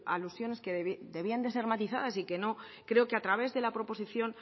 alusiones que debían de ser matizadas y que no creo que a través de la proposición